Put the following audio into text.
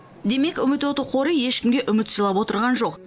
демек үміт оты қоры ешкімге үміт сыйлап отырған жоқ